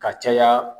Ka caya